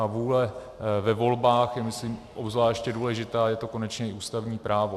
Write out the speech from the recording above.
Ta vůle ve volbách je, myslím, obzvláště důležitá, je to konečně i ústavní právo.